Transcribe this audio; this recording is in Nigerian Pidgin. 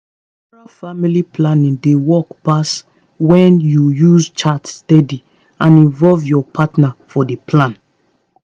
natural family planning dey work pass when you use chart steady and involve your partner for the plan